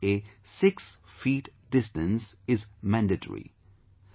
Observing a 6 feet distance is mandatory